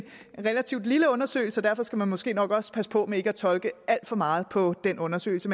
relativt lille undersøgelse og derfor skal man måske nok også passe på med ikke at tolke alt for meget på den undersøgelse